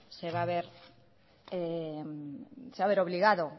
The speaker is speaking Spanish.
se va a ver obligado